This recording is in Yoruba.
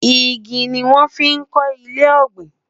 ìgi ní wón fí kò ilé ògbìn